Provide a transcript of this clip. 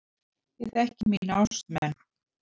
Ég þekki mína ástmenn.